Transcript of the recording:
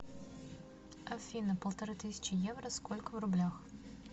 афина полторы тысячи евро сколько в рублях